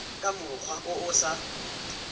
ka mokgwa o o sa